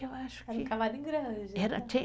Eu acho que. Era um cavalo em grande. Era